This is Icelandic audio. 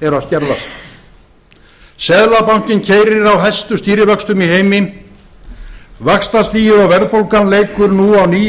eru að skerðast seðlabankinn keyrir á hæstu stýrivöxtum í heimi fimmtán og hálft prósent vaxtastigið og verðbólgan leikur nú á ný